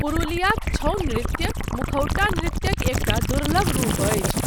पुरुलियाक छऊ नृत्य मुखौटा नृत्यक एकटा दुर्लभ रूप अछि।